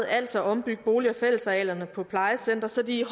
altså ombygge bolig og fællesarealerne på plejecentre så de